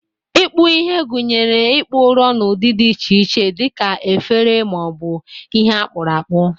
Ikpu ihe gụnyere ịkpụ ụrọ n'ụdị dị iche iche dị ka efere ma ọ bụ ihe akpuru akpu.